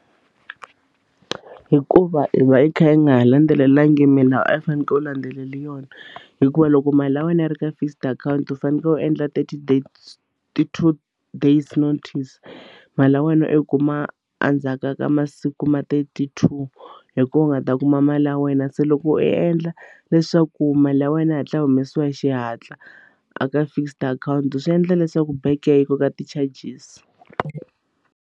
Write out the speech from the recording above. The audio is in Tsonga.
Hikuva i va hi kha hi nga landzelelanga milawu a yi fanekele u landzelela yona hikuva loko mali ya wena yi ri ka fixed account u fanekele u endla ti two days notice mali ya wena i kuma endzhaku ka masiku ma thirty-two hi kona u nga ta kuma mali ya wena se loko u endla leswaku mali ya wena yi hatla yi humesiwa hi xihatla a ka fixed akhawunti swi endla leswaku bank yi koka ti-charges.